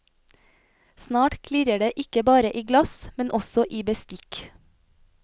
Snart klirrer det ikke bare i glass, men også i bestikk.